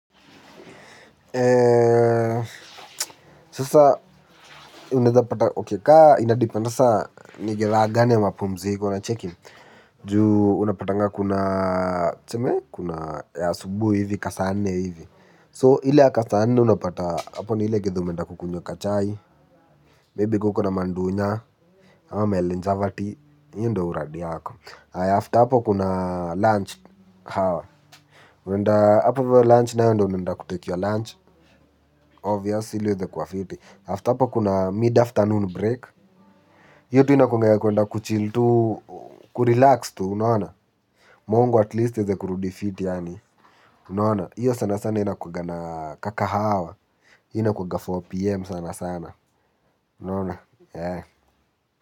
Eee. Sasa unaeza pata okey kama inadepend sasa ni gela gani ya mapumziko unacheki. Ju unapatanga kuna tuseme kuna ya asubuhi hivi ka saa nne hivi so ile ya kasaa nne unapata hapo ni ile githaa umenda kukunywa kachai maybe kama uko na mandunya ama ama melenjavati hiyo ndo uradi yako haya after hapo kuna lunch hawa. Unaenda hapo hivyo lunch nayo ndo unaenda kutake your lunch. Obvious ili iweze kuwa fiti after hapa kuna mid afternoon break hiyo tu inakuwanga ya kuenda kuchill tu. Ku relax tu unaona mongo at least iweze kurudi fiti yaani unaona hiyo sana sana ina kuwanga na ka kahawa. Inakuanga 4pm sana sana unaona.